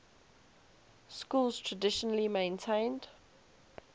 schools traditionally maintained